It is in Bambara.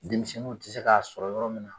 Denmisɛnninw ti se k'a sɔrɔ yɔrɔ min na